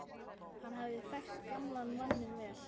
Hann hafði þekkt gamla manninn vel.